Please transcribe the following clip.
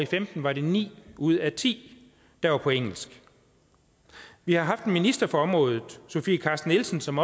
femten var det ni ud af ti der var på engelsk vi har haft en minister på området sofie carsten nielsen som